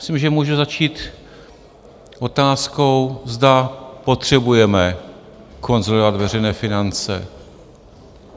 Myslím, že může začít otázkou, zda potřebujeme konsolidovat veřejné finance?